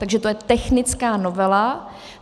Takže to je technická novela.